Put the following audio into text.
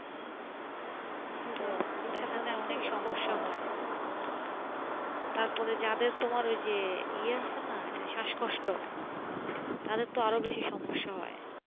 তারপরে যাদের তোমার ওই যে ইয়ে আছে না ওই যে শাস কষ্ট তাদের তো আরো বেশি সমস্যা হয়